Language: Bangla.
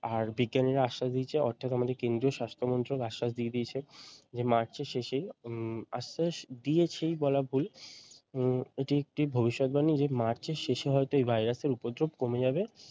আর বিজ্ঞানীরা আশ্বাস দিয়েছে অর্থাৎ আমাদের কেদ্রীয় স্বাস্থ্যমন্ত্রক আশ্বাস দিয়ে দিয়েছে যে মার্চের শেষেই উম আশ্বাস দিয়েছে বলা ভুল উম এটি একটি ভবিষৎ বাণী মার্চের শেষে হয়তো এই ভাইরাস এর উপদ্রপ কমে যাবে ।